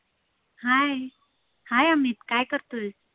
hi hi Amit काय करतोय?